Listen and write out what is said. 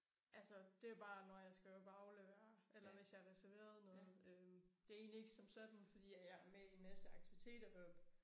Altså det bare når jeg skal op og aflevere eller hvis jeg har reserveret noget øh det egentlig ikke som sådan fordi jeg er med i en masse aktiviteter heroppe